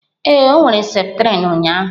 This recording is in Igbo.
Ee, ọ were septrin ụnyaahụ.